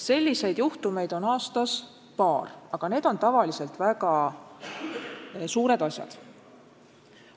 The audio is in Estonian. Selliseid juhtumeid on, aga need on tavaliselt väga suured asjad.